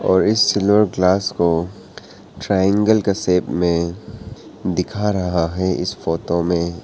और इस silver glass को ट्राइएंगल का शेप में दिखा रहा है इस फोटो में।